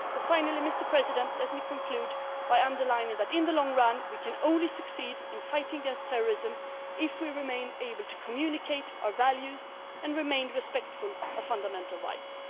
a short time. Finally, let me conclude by underlining that, in the long run, we can only succeed in fighting against terrorism if we remain able to communicate our values and remain respectful of fundamental